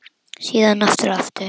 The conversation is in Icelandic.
Síðan aftur og aftur.